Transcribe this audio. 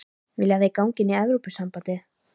Vilja þeir ganga inn í Evrópusambandið?